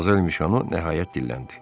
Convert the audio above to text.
Modmozel Mişono nəhayət dilləndi: